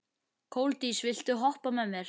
Koldís, viltu hoppa með mér?